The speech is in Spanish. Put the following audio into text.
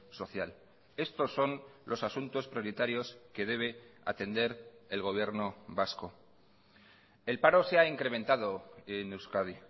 social estos son los asuntos prioritarios que debe atender el gobierno vasco el paro se ha incrementado en euskadi